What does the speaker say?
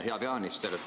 Hea peaminister!